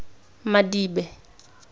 madibe